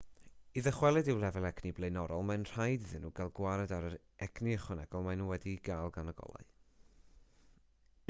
i ddychwelyd i'w lefel egni blaenorol mae'n rhaid iddyn nhw gael gwared ar yr egni ychwanegol maen nhw wedi'i gael gan y golau